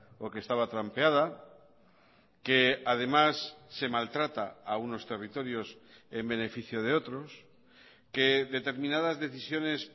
o que estaba trampeada que además se maltrata a unos territorios en beneficio de otros que determinadas decisiones